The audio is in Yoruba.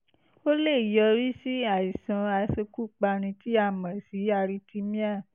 ó lè yọrí sí àìsàn aṣekúpani tí a mọ̀ sí arrhythmia